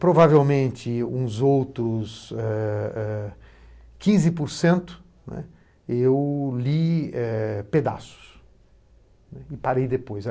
Provavelmente, uns outros eh eh quinze porcento, né, eu li pedaços e parei depois.